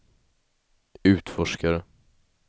utforskare